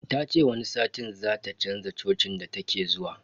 Ta ce wani satin zata chanza cocin da take zuwa.